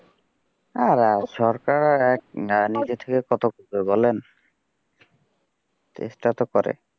হ্যাঁ সরকার আর এক নিজে থেকে কত করবে বলেন চেষ্টা তো করে।